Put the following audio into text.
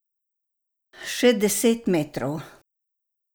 Še deset metrov.